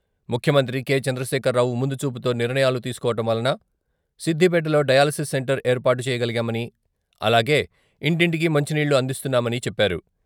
ముఖ్యమంత్రి కె.చంద్రశేఖర్రావు ముందుచూపుతో నిర్ణయాలు తీసుకోవటం వలన సిద్దిపేటలో డయాలసిస్ సెంటర్ ఏర్పాటు చేసుకోగలిగామని అలాగే ఇంటింటికీ మంచినీళ్ళు అందిస్తున్నామని చెప్పారు.